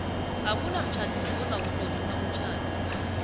akunamtjhadisi ozakutlolisa umtjhado